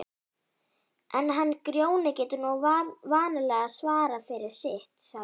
En hann Grjóni getur nú vanalega svarað fyrir sitt, sagði